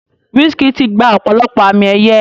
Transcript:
Wizkid ti gba ọ̀pọ̀lọpọ̀ àmì ẹ̀yẹ.